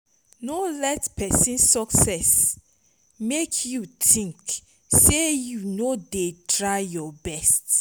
no let pesin success mek yu tink sey yu no dey try yur best